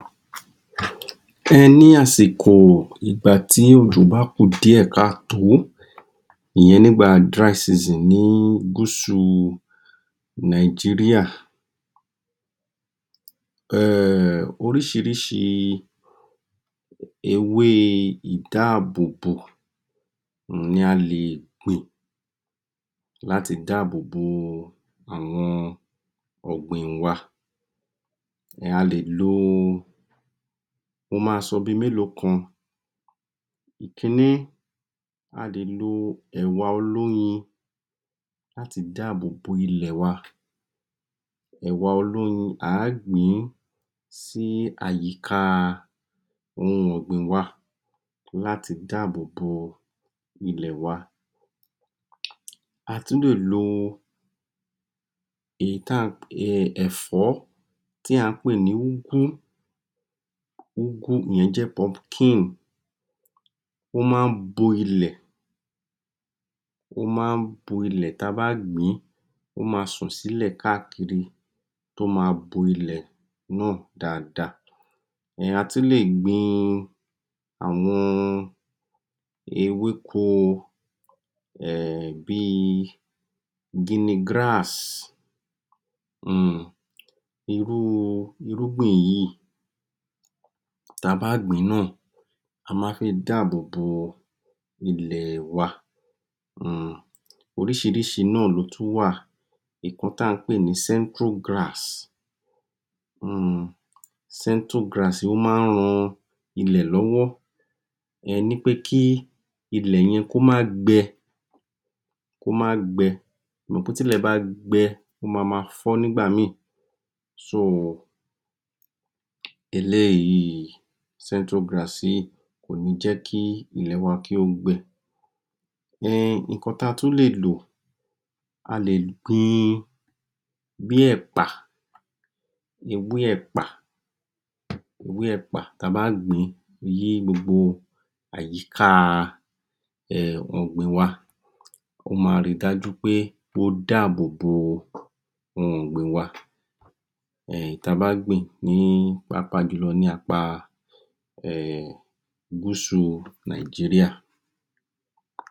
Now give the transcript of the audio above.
Ẹní àsìkò ìgbà tí òjò bá a kù díẹ̀ káàtò ìyẹn nígbà dry season ni Gúúsù Nàìjíríà. Ehn, Oríṣiríṣi ewé ìdáàbò bò ni a lè gbìn láti dáàbò bo àwọn ọgbìn wa. A lè lo, ó máa ń sọ bí mélòó kan, ìkìíní, a lè lo ẹwà olóyin àti dáàbò bò ilẹ̀ wa. Ẹwà olóyin a gbìn sí àyíká ohun ọgbìn wa láti dáàbò bò ilẹ̀ wa. A tún lè lo èyí tí a ń pé Ẹ̀fọ́, tí a ń pé ní Úgú ìyẹn pumpkin, ó máa ń bo ilẹ̀, ó máa ń bo ilẹ̀ tí a bá gbìn, ó máa sò sílẹ̀ káàkiri tí a bo ilẹ̀ náà dáadáa. Èèyàn á tún lé gbìn àwọn ewéko, bí Gini-grass, hmm, irúgbìn yìí tí a bá gbìn náà, a máa ń fi dáàbò bo ilẹ̀ wa. Oríṣiríṣi náà ló tún wà nǹkan tí a ń pé ní Centro-grass, hmm Centro-grass yìí ó máa ń ran ilẹ̀ lọ́wọ́ wí pé kí ilẹ̀ yẹn kò máa gbẹ, ẹ mọ̀ pé tilẹ̀ bá gbẹ ó máa má fọ nígbà mi, so, eléyìí, Centro-grass yìí, kò ní jẹ ki ilẹ̀ wa kí ó gbẹ. Ehn, Nǹkan tí a tún lè lò, a lè gbìn bí ẹ̀pà, ewé ẹ̀pà, tí a bá gbìn gbogbo àyíká ọgbìn wa, o máa rí dájú pé o dáàbò bò ohun ọgbìn wa èyí tí a bá a gbìn pàápàá jù lọ ní apá Gúúsù Nàìjíríà.